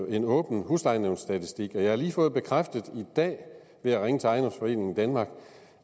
en åben huslejenævnsstatistik jeg har lige fået bekræftet i dag ved at ringe til ejendomsforeningen danmark